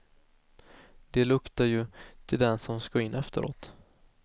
Det luktar ju till den som ska in efteråt.